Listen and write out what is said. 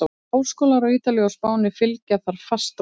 Háskólar á Ítalíu og Spáni fylgja þar fast á eftir.